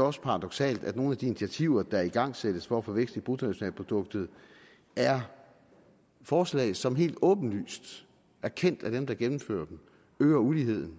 også paradoksalt at nogle af de initiativer der igangsættes for at få vækst i bruttonationalproduktet er forslag som helt åbenlyst erkendt af dem der gennemfører dem øger uligheden